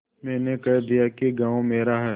मैंने कह दिया कि गॉँव मेरा है